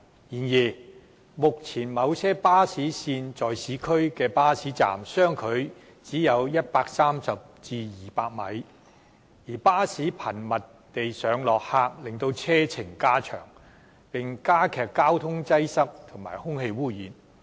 然而，目前某些巴士線在市區的巴士站相距只有130至200米，而巴士頻密地上落客令車程加長，並加劇交通擠塞和空氣污染。